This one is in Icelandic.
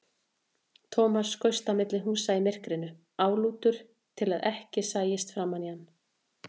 Thomas skaust á milli húsa í myrkrinu, álútur til að ekki sæist framan í hann.